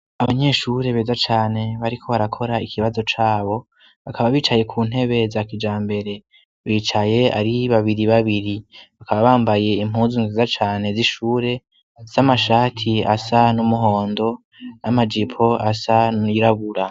Abanyeshure beza cane bariko barakora ikibazo cabo; bakaba bicaye ku ntebe za kijambere. Bicaye ari babiri babiri. Bakaba bambaye impuzu nziza cane z'ishure z'amashati asa n'umuhondo n'amajipo asa nirabura.